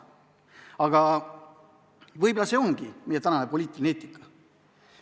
Aga võib-olla see ongi meie praegune poliitiline eetika.